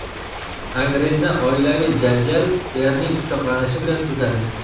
Angrenda oilaviy janjal erning pichoqlanishi bilan tugadi.